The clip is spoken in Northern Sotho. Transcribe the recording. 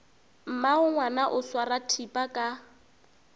mmagongwana o swara thipa ka